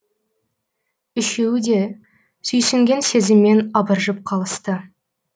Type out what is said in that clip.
үшеуі де сүйсінген сезіммен абыржып қалысты